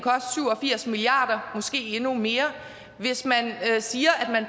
firs milliard kroner måske endnu mere hvis man siger at